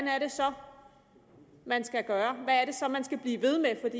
er det så man skal gøre hvad er det så man skal blive ved med